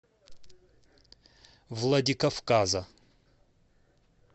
владикавказа